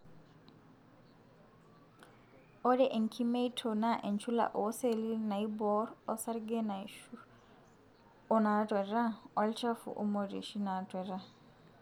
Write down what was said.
ore enkimeito na enchula oseli naiborr osarge naishu onatueta, olchafu, imorioshi natueta.